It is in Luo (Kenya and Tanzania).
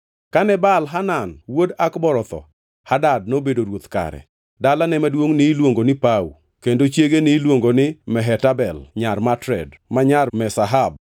Kane Baal-Hanan wuod Akbor otho, Hadad nobedo ruoth kare. Dalane maduongʼ niluongo ni Pau, kendo chiege niluongo ni Mehetabel nyar Matred, ma nyar Me-Zahab.